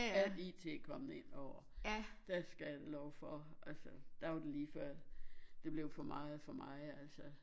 Al i IT kommet ind over der skal jeg love for altså der var det lige før det blev for meget for mig altså